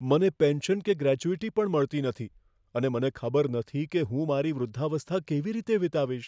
મને પેન્શન કે ગ્રેચ્યુટી પણ મળતી નથી અને મને ખબર નથી કે હું મારી વૃદ્ધાવસ્થા કેવી રીતે વીતાવીશ.